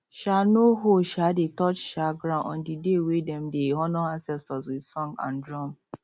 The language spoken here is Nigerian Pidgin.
um no hoe um dey touch um ground on the day wey dem dey honour ancestors with song and drum